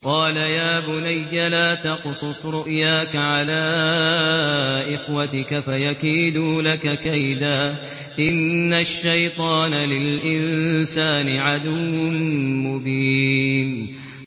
قَالَ يَا بُنَيَّ لَا تَقْصُصْ رُؤْيَاكَ عَلَىٰ إِخْوَتِكَ فَيَكِيدُوا لَكَ كَيْدًا ۖ إِنَّ الشَّيْطَانَ لِلْإِنسَانِ عَدُوٌّ مُّبِينٌ